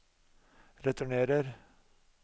returnerer